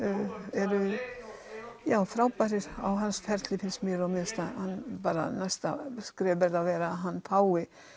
eru frábærir á hans ferli finnst mér og mér finnst næsta skref að hann fái